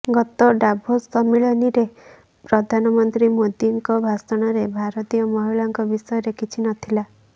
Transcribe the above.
ଗତ ଡାଭୋସ ସମ୍ମିଳନୀରେ ପ୍ରଧାନମନ୍ତ୍ରୀ ମୋଦିଙ୍କ ଭାଷଣରେ ଭାରତୀୟ ମହିଳାଙ୍କ ବିଷୟରେ କିଛି ନଥିଲା